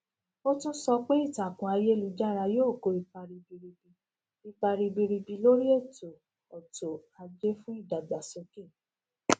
ó tún sọ pé ìtàkùn ayélujára yóò kó ipa ribiribi ipa ribiribi lórí ètò ọtò ajé fún ìdàgbàsókè